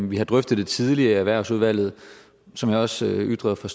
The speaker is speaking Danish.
vi har drøftet det tidligere i erhvervsudvalget og som jeg også ytrede fra